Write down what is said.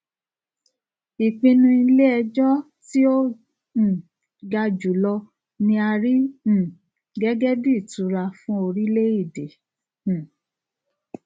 ìpinnu iléẹjọ tí ó um ga jùlọ ni a rí um gẹgẹ bíi ìtura fún orilẹèdè um